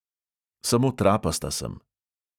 Samo trapasta sem.